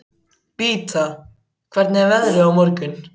Beata, hvernig er veðrið á morgun?